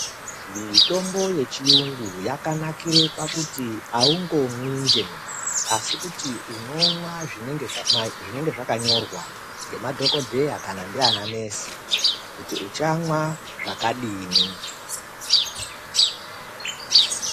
Mitombo yechiyungu yakanakire pakuti aungomwi njee asi kuti unomwa zvinenge zvakanyorwa ngemadhokodheya kana ndiana nesi kuti uchamwa zvakadini.